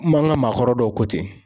an ka maakɔrɔ dɔw ko ten.